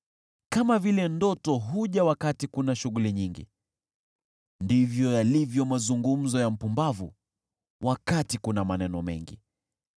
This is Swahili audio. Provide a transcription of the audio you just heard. Kama vile ndoto huja wakati kuna shughuli nyingi, ndivyo yalivyo mazungumzo ya mpumbavu wakati kuna maneno mengi.